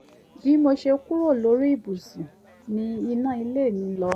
bí mo ṣe kúrò lórí ibùsù ni iná ilé mi lọ